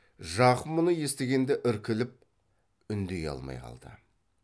жақым мұны естігенде іркіліп үндей алмай қалды